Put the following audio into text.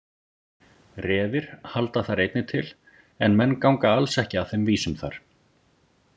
Refir halda þar einnig til en menn ganga alls ekki að þeim vísum þar.